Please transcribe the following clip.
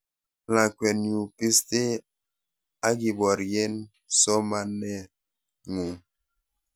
lakweeyu bistee akiborien somanee ngung